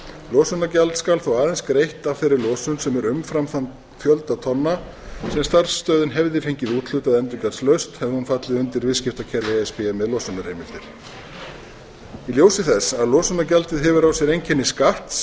losunargjald skal þó aðeins greitt af þeirri losun sem er umfram þann fjölda tonna sem starfsstöðin hefði fengið úthlutað endurgjaldslaust hefði hún fallið undir viðskiptakerfi e s b með losunarheimildir í ljósi þess að losunargjaldið hefur á sér einkenni skatts